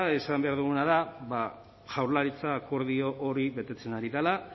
esan behar duguna da ba jaurlaritza akordio hori betetzen ari dela